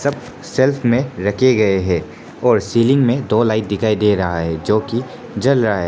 सब शेल्फ में रखे गए हैं और सीलिंग में दो लाइट दिखाई दे रहा है जो कि जल रहा है।